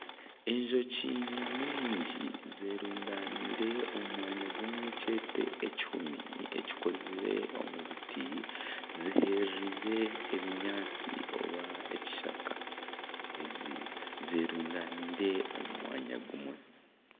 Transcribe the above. Enjoki nyamwingi zerundaniire omu mwanya gumwe kyeete ekihumi ekikozire omu biti. Ziherereire ebinyaatsi oba ekishaka. Ezi zerundaniire omu mwanya gumwe.